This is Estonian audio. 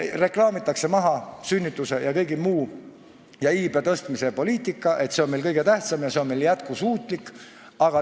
Reklaamitakse, et sünnitused jms iibe tõstmise poliitika on meil kõige tähtsam ja see on jätkusuutlik.